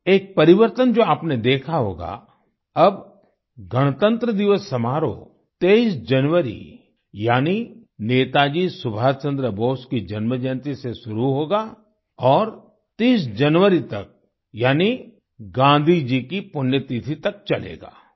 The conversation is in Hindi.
एक परिवर्तन जो आपने देखा होगा अब गणतंत्र दिवस समारोह 23 जनवरी यानि नेताजी सुभाष चंद्र बोस की जन्म जयंती से शुरू होगा और 30 जनवरी तक यानि गाँधी जी की पुण्यतिथि तक चलेगा